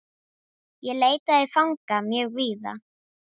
Ég leitaði fanga mjög víða.